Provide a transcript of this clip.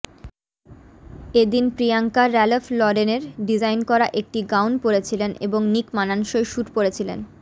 এদিন প্রিয়াঙ্কা ব়্যালফ লরেনের ডিজাইন করা একটি গাউন পরেছিলেন এবং নিক মানানসই স্যুট পরেছিলেন